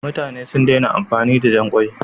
Mutane sun daina amfani da jan ƙwai.